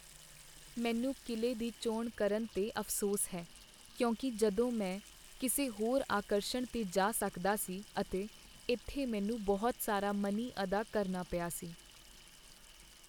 ਮੈਨੂੰ ਕਿਲ੍ਹੇ ਦੀ ਚੋਣ ਕਰਨ 'ਤੇ ਅਫ਼ਸੋਸ ਹੈ, ਕਿਉਂਕਿ ਜਦੋਂ ਮੈਂ ਕਿਸੇ ਹੋਰ ਆਕਰਸ਼ਣ 'ਤੇ ਜਾ ਸਕਦਾ ਸੀ ਅਤੇ ਇੱਥੇ ਮੈਨੂੰ ਬਹੁਤ ਸਾਰਾ ਮਨੀ ਅਦਾ ਕਰਨਾ ਪਿਆ ਸੀ।